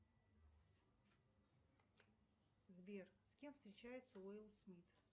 сбер с кем встречается уилл смит